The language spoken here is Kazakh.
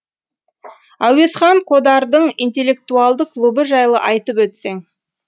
әуезхан қодардың интеллектуалды клубы жайлы айтып өтсең